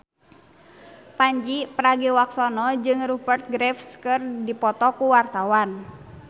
Pandji Pragiwaksono jeung Rupert Graves keur dipoto ku wartawan